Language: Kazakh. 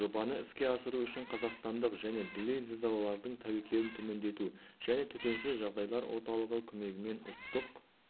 жобаны іске асыру үшін қазақстандық және дүлей зілзалалардың тәуекелін төмендету және төтенше жағдайлар орталығы көмегімен ұлттық